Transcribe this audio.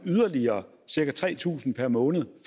yderligere cirka tre tusind kroner per måned